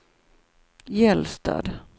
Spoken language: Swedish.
Gällstad